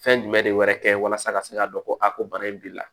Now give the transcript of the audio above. Fɛn jumɛn de wɛrɛ kɛ walasa ka se k'a dɔn ko a ko bana in b'i la